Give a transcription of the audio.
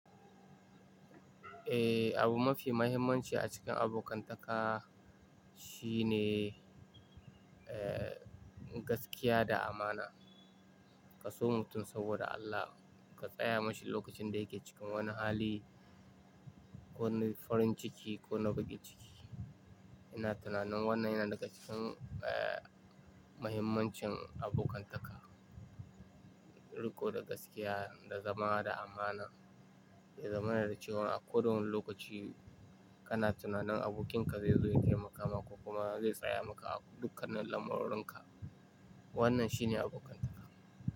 Eh, abu mafi mahimmanci a cikin abokantaka shine, eh, gaskiya da amana. Ka so mutum saboda Allah, ka tsaya mashi lokacin da yake cikin wani hali, ko wani farin ciki ko na bakin ciki. Ina tunanin wannan yana daga cikin, eh, mahimmancin abokantaka. Riko da gaskiya, da zama da amana, ya zama na da cewa a koda wane lokaci kana tunanin abokinka zai zo ya taimaka maka ko kuma zai tsaya maka a dukkanin lamurɗunka. Wannan shine abokantaka.